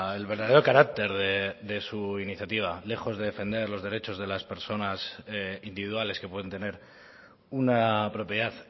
el verdadero carácter de su iniciativa lejos de defender los derechos de las personas individuales que pueden tener una propiedad